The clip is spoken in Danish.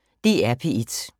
DR P1